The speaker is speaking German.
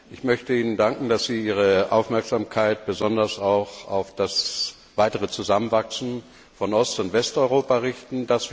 Ich möchte Ihnen danken, dass Sie Ihre Aufmerksamkeit besonders auch auf das weitere Zusammenwachsen von Ost und Westeuropa richten.